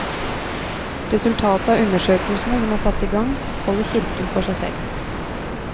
Resultatet av undersøkelsene som er satt i gang, holder kirken for seg selv.